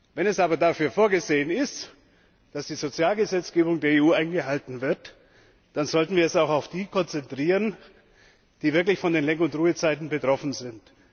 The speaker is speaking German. Wenn es aber dafür vorgesehen ist, dass die Sozialgesetzgebung der EU eingehalten wird, dann sollten wir es auch auf jene konzentrieren, die wirklich von den Lenk und Ruhezeiten betroffen sind.